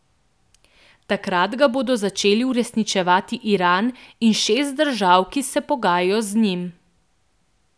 Takrat ga bodo začeli uresničevati Iran in šest držav, ki se pogajajo z njim.